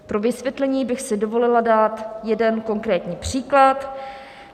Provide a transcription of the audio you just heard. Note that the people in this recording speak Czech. Pro vysvětlení bych si dovolila dát jeden konkrétní příklad.